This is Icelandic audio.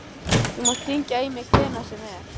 Þú mátt hringja í mig hvenær sem er.